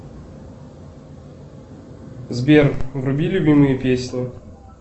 сбер вруби любимые песни